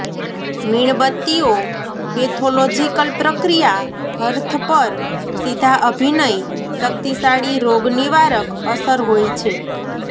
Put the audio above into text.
મીણબત્તીઓ pathological પ્રક્રિયા hearth પર સીધા અભિનય શક્તિશાળી રોગનિવારક અસર હોય છે